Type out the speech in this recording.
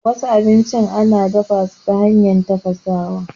Wasu abincin ana dafasu ta hanyar tafasawa.